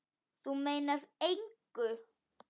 Þú meinar engu!